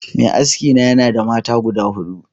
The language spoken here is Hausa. Mai aski na yanada mata guda hudu